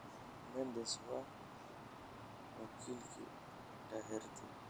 Mendes waa wakiilka Doherty.